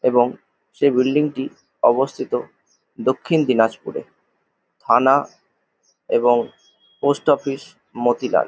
এবং সে বিল্ডিং -টি অবস্থিত দক্ষিণ দিনাজপুরে থানা এবং পোস্ট অফিস মতিলাল ।